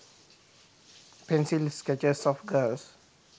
pencil sketches of girls